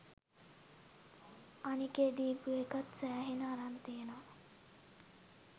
අනිකේ දීපු එකත් සෑහෙන අරන් තියෙනවා